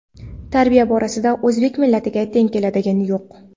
Tarbiya borasida o‘zbek millatiga teng keladigani yo‘q.